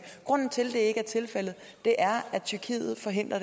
grunden til at det ikke er tilfældet er at tyrkiet forhindrer